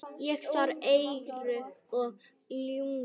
Ég þarf engu að ljúga.